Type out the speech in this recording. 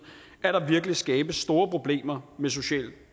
at der virkelig skabes store problemer med social